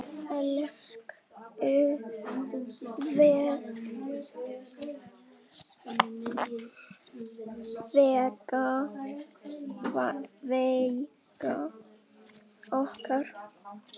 Elsku Veiga okkar.